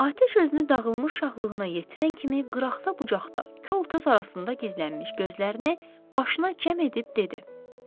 Atəş özünü dağılmış şahlığına yetirən kimi qıraqda bucaqda kolkös arasında gizlənmiş gözlərini başına cəm edib dedi: